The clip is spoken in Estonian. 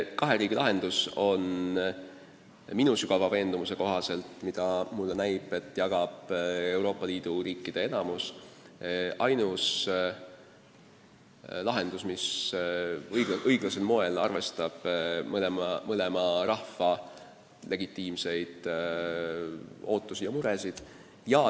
Kahe riigi lahendus, mida minu arvates pooldab Euroopa Liidu riikide enamus, on minu sügava veendumuse kohaselt ainus lahendus, mis õiglasel moel arvestab mõlema rahva legitiimseid ootusi ja muresid.